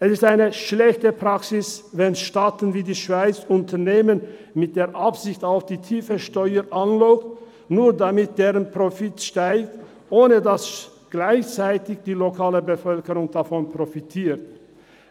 Es ist eine schlechte Praxis, wenn Staaten wie die Schweiz, Unternehmen mit der Aussicht auf tiefe Steuern anlocken, nur damit deren Profit steigt, ohne dass gleichzeitig die lokale Bevölkerung davon profitiert,